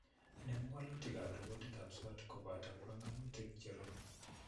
Inemu walutikab reportitab SWOT kobto banganutik cherube